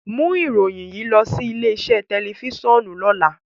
Mu iroyin yii lọ si ile-iṣe tẹlifisiọnu lọla!